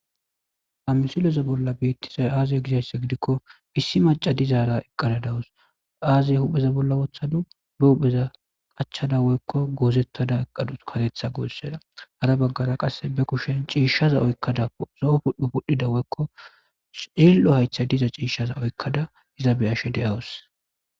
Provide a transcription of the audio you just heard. Ha misileza bola betizayi aze gizayisa gidikko issi macca dizara eqada dawusi aze wopheza bola woththadus ba hupheza qachchada woyikko gozetada eqadusi kareetha gosera hara baggara qase ba kushsheni cishshza oyikada lo oudhdhi pudhdhda cililo hayithayi dizayisa oyikkada eza beyashe deawusi